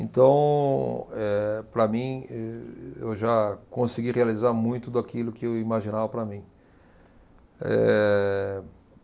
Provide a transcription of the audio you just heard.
Então, eh, para mim, eu já consegui realizar muito daquilo que eu imaginava para mim. Ehh